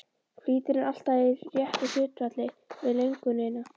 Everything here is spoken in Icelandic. Flýtirinn alltaf í réttu hlutfalli við löngunina.